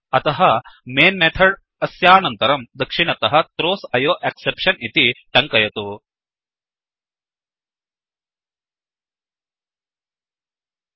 अतः main main methods अस्यानन्तरं दक्षिणतः throws IO exception throws I O exception इति टङ्कयतु